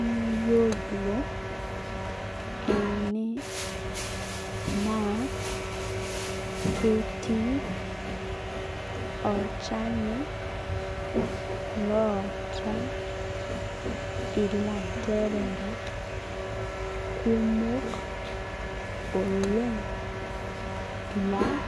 Iyiolo ene naa ketii olchani loota ilanterera kumok oleng' laa